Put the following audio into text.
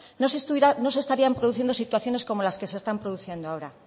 no se estarían produciendo situaciones como las que se están produciendo ahora